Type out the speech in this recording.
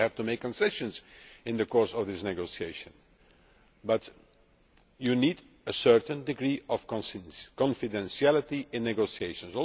we will have to make concessions in the course of these negotiations. But you need a certain degree of confidentiality in negotiations.